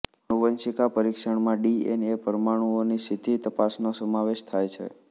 આનુવંશિક પરિક્ષણમાં ડીએનએ પરમાણુંઓની સીધી તપાસનો સમાવેશ થાય છે